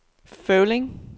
Føvling